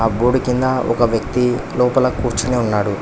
Board కింద ఒక వ్యక్తి లోపల కూర్చుని ఉన్నాడు.